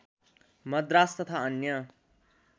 मद्रास तथा अन्य